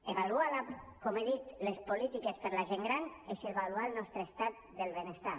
avaluar com he dit les polítiques per a la gent gran és avaluar el nostre estat del benestar